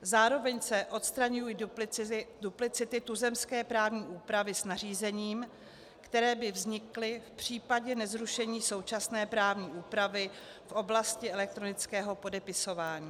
Zároveň se odstraňují duplicity tuzemské právní úpravy s nařízením, které by vznikly v případě nezrušení současné právní úpravy v oblasti elektronického podepisování.